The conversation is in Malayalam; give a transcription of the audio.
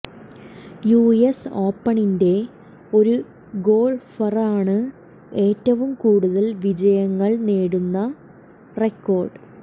യുഎസ് ഓപ്പണിന്റെ ഒരു ഗോൾഫറാണ് ഏറ്റവും കൂടുതൽ വിജയങ്ങൾ നേടുന്ന റെക്കോർഡ്